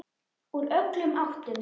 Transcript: Úr öllum áttum.